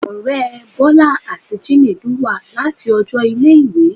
Ọrẹ Bola ati Chinedu wa lati ọjọ ile-iwe